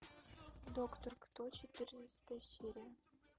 доктор кто четырнадцатая серия